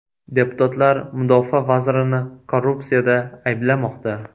Deputatlar mudofaa vazirini korrupsiyada ayblamoqda.